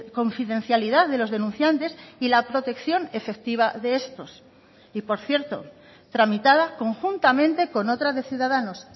confidencialidad de los denunciantes y la protección efectiva de estos y por cierto tramitada conjuntamente con otra de ciudadanos